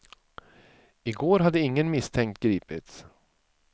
I går hade ingen misstänkt gripits.